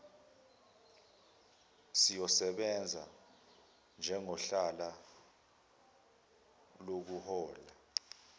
siyosebenza njengohlala lokuhola